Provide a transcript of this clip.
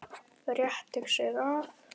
Rétti sig af.